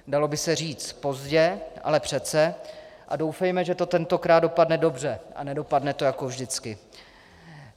Dalo by se říct pozdě, ale přece, a doufejme, že to tentokrát dopadne dobře a nedopadne to jako vždycky.